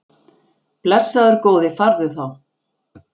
Blessaður góði farðu þá.